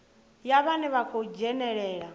ya vhane vha khou dzhenelela